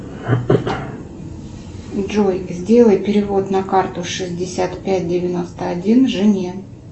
джой сделай перевод на карту шестьдесят пять девяносто один жене